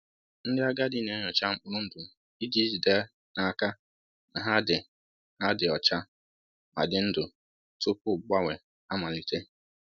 Ndị agadi na-enyocha mkpụrụ ndụ iji jide n’aka na ha dị ha dị ọcha ma dị ndụ tupu mgbanwe amalite